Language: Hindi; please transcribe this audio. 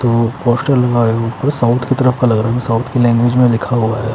तो कोस्टल ऊपर साउथ की तरफ का लग रहा हैं साऊथ के लैंग्वेज में लिखा हुआ है।